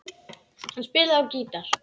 Hann spilaði á gítar.